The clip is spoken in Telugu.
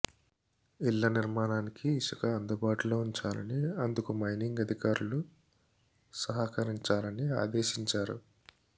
ఇళ్ల నిర్మాణానికి ఇసుక అందుబాటులో ఉంచాలని అందుకు మైనింగ్ అధికారులు సహకరించాలని ఆదేశించారు